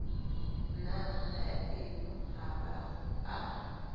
na haeno ha ba a